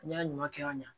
N'i y'a ɲuman kɛ ka ɲa